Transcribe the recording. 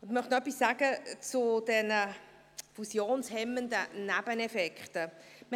Ich möchte noch etwas zu den fusionshemmenden Nebeneffekten sagen.